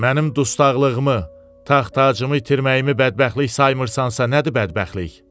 Mənim dustaqlığımı, taxtacımı itirməyimi bədbəxtlik saymırsansa nədir bədbəxtlik?